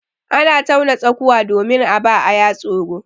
Ana tauna tsakuwa domin a ba aya tsoro.